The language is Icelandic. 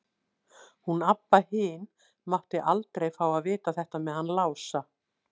Hún Abba hin mátti aldrei fá að vita þetta með hann Lása.